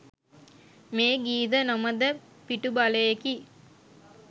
මේ ගීද නොමද පිටුබලයෙකි.